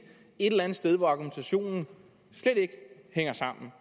eller andet sted hvor argumentationen slet ikke hænger sammen